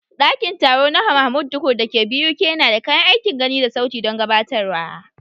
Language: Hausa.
Ɗakin taro na Mahmud Tukur da ke BUK yana da kayan aikin gani da sauti don gabatarwa.